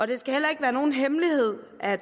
det skal heller ikke være nogen hemmelighed at